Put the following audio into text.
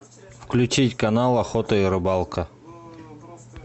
включить канал охота и рыбалка